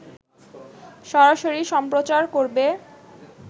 সরাসরি সম্প্রচার করবে